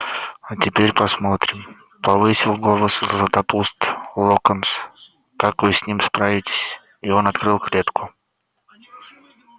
а теперь посмотрим повысил голос златопуст локонс как вы с ними справитесь и он открыл клетку